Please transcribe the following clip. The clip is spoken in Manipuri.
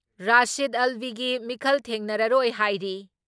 ꯔꯥꯁꯤꯗ ꯑꯜꯕꯤꯒꯤ ꯃꯤꯈꯜ ꯊꯦꯡꯅꯔꯔꯣꯏ ꯍꯥꯏꯔꯤ ꯫